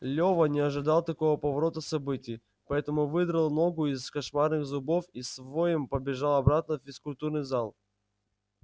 лева не ожидал такого поворота событий поэтому выдрал ногу из кошмарных зубов и с воем побежал обратно в физкультурный зал